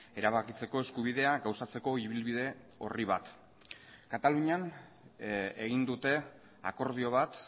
erabakitzeko eskubidea gauzatzeko ibilbide orri bat katalunian egin dute akordio bat